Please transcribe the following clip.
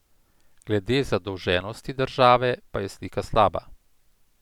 Glede zadolženosti države pa je slika slaba.